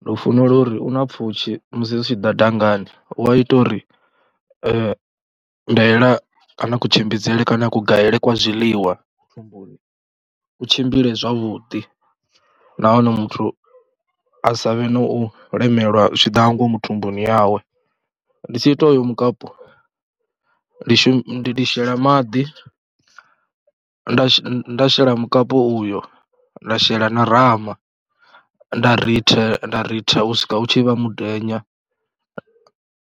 ndi u funela uri u na pfhushi musi zwi tshi ḓa dangani u a ita uri ndaela kana kutshimbidzele kana a kugaele kwa zwiḽiwa thumbuni ku tshimbile zwavhuḓi nahone muthu a sa vhe na u lemelwa zwi tshi ḓa nga ngomu thumbuni yawe. Ndi tshi ita uyo mukapu ndi shumi ndi shela maḓi, nda shela mukapu uyo, nda shela na rama, nda rithe, nda ritha u swika u tshi vha mudenya.